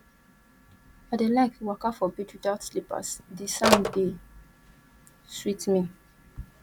i dey like waka for beach witout slippers di sand dey sweet me